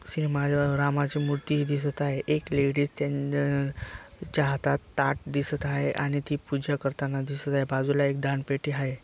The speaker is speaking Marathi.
श्री रामाची मूर्ति दिसत आहे एक लेडीस त्यांच्या हातात ताट दिसत आहे आणि ती पूजा करताना दिसत आहेत बाजूला एक दान पेटी हाये.